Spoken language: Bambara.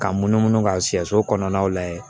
Ka munumunu ka sɛso kɔnɔnaw lajɛ